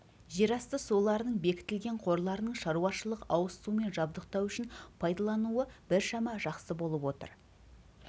жерасты суларының бекітілген қорларының шаруашылық-ауызсумен жабдықтау үшін пайдалануы біршама жақсы болып отыр